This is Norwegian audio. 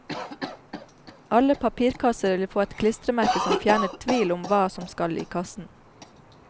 Alle papirkasser vil få et klistremerke som fjerner tvil om hva som skal i kassen.